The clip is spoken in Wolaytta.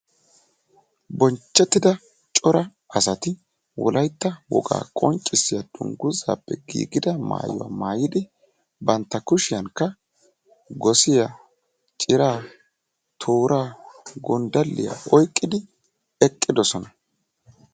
Bonchchettida cora asati wolaytta wogaa qonccissiya dungguzappe giigida maayyuwa maayidi bantta kushiyankka gosiya, ciraa, toora, gonddaliya oyqqidi eqqidoosona.